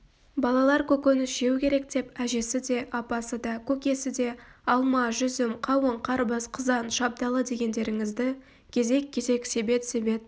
балалар көкөніс жеу керек деп әжесі де апасы да көкесі де алма-жүзім қауын-қарбыз қызан шабдалы дегендеріңізді кезек-кезек себет-себет